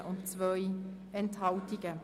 Sie haben die Ziffer 3 angenommen.